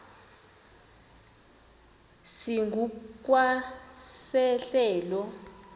esingu kwa sehlelo